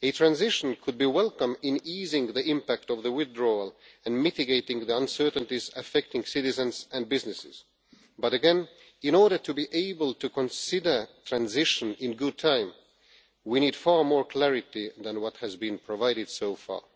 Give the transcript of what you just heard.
A transition could be welcome in easing the impact of the withdrawal and mitigating the uncertainties affecting citizens and businesses but, again, in order to be able to consider transition in good time, we need far more clarity than has been provided so far.